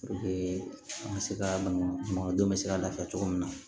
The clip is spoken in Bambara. an ka se ka baŋɔdenw be se ka lafiya cogo min na